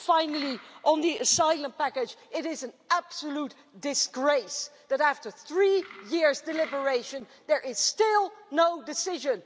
Finally, on the asylum package it is an absolute disgrace that after three years' deliberation, there is still no decision.